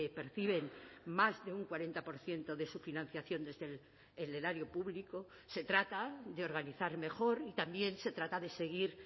perciben más de un cuarenta por ciento de su financiación desde el erario público se trata de organizar mejor y también se trata de seguir